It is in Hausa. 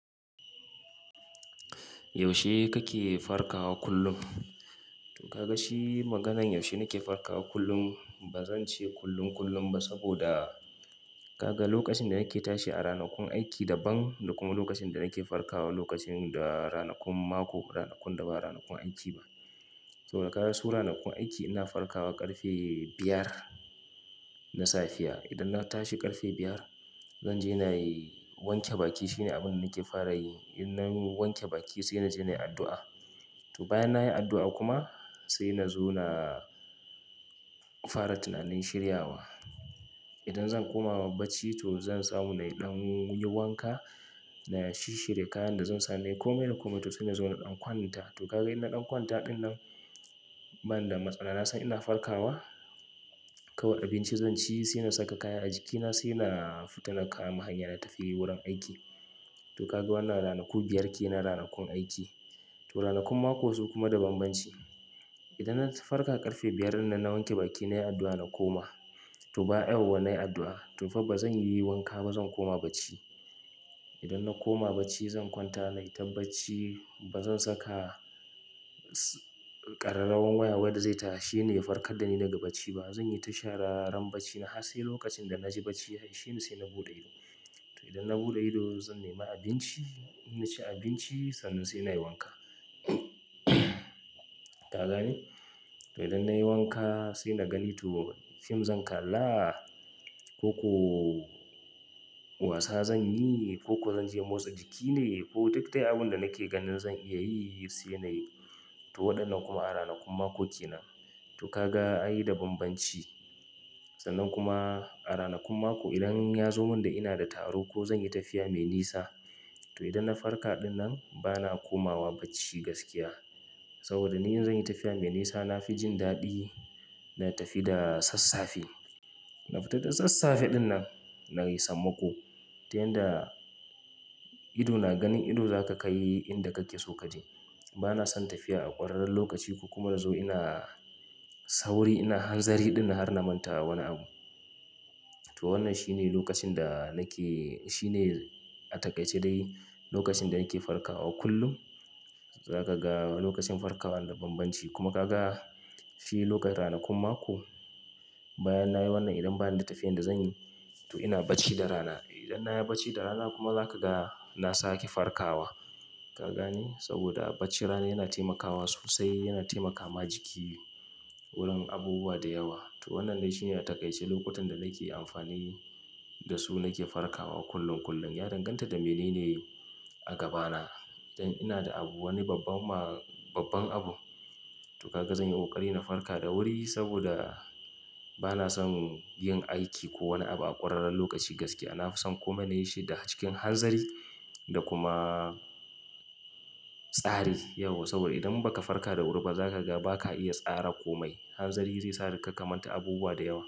Yaushe kake farkawa kullum? To ka ga shi maganan yaushe nake farkawa kullum. Ba zan ce kullum, kullum ba saboda ka ga lokacin da nake tashi a ranakun aiki daban da kuma lokacin da nake farkawa lokacin da ranakun mako, ranakun da ba ranakun aiki ba. To ka ga su ranakun aiki ina farkawa ƙarfe biyar na safiya. Idan na tashi ƙarfe biyar zan je na yi wanke baki. Shine abun da nake fara yi. In nayi wanke baki sai na je na yi addu'a. To bayan na yi addu'a kuma sai na zo na fara tunanin shiryawa. Idan zan koma ma bacci to zan tsamu na yi ɗan yiwanka, na shi shirye kayan da zan sa. Kome na koma to sai na zo na ɗan kwanta. To ka ga ina ɗan kwanta ɗin nan bana da matsala. Na san ina farkawa, kawai abinci zan ci sai na saka kaya a jikina sai na fita na kama hanya na tafi wurin aiki. To ka ga wannan ranaku biyar ke na ranakun aiki. To ranakun mako su kuma da banbanci. Idan na farka ƙarfe biyar nan, na wanke baki, na yi addu'a na koma. To ba an uwan na yi addu'a tun fa ba zan yi wanka ba zan koma bacci. Idan na koma bacci zan kwanta na yi tabbaci. Ba zan saka ƙararrawan waya wadda zai tashi ne ya farkar da ni daga bacci ba. Zan yi tashararan bacci na har sai lokacin da na ji bacci ya ishine sai na buɗe ido. To idan na buɗe ido zan nemi abinci, na ci abinci sannan sai na yi wanka. Ka gane? To idan na yi wanka sai na gani to fim zan kalla koko wasa zan yi koko zan je motsa jiki ne ko duk dai abunda nake ganin zan iya yi sai na yi. To wandannan kuma a ranakun makoki na. To ka ga an yi da banbanci. Sannan kuma a ranakun mako idan ya zo min da ina da taro ko zan yi tafiya mai nisa to idan na farka ɗinnan bana komawa bacci gaskiya. Saboda ni in zan yi tafiya mai nisa, na fi jin daɗi na tafi da sassafe. Na fita da sassafe ɗinnan na yi sammako. Ta yanda ido na ganin ido zaka kayi inda kake so kaje. Bana son tafiya a ƙwararrun lokaci ko kuma nazo ina sauri ina hanzari ɗin na har namanta wani abu. To wannan shine lokacin da nake-- shine a takaice dai lokacin da nake farkawa kullum. Zaka ga lokacin farkawan da banbanci kuma ka ga shi lokatanakun mako. Bayan na yi wannan idan bana da tafiyan da zan yi to ina bacci da rana. Idan na yi bacci da rana kuma zaka ga na sake farkawa. Ka gani? Saboda bacci rana yana taimakawa sosai, yana taimaka ma jiki wurin abubuwa da yawa. To wannan dai shine a takaice lokutan da nake amfani da su nake farkawa kullum, kullum. Ya danganta da mene ne a gabana. Idan ina da abu wani babban ma-- babban abu to ka ga zan yi ƙoƙari na farka da wuri saboda bana son yin aiki ko wani abu a ƙwararrun lokaci gaskiya. Na fi son kuma na yi shi da cikin hanzari da kuma tsari yauwa. Saboda idan ba ka farka da wuri ba zaka ga ba ka iya tsara komai. Hanzari zai sa da kaka manta abubuwa da yawa.